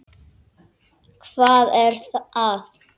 Hvað var að?